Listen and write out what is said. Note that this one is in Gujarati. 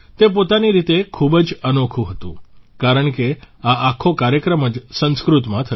તે પોતાની રીતે ખૂબ જ અનોખું હતું કારણ કે આ આખો કાર્યક્રમ જ સંસ્કૃતમાં થયો